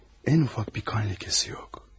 Ən ufak bir qan ləkəsi yox.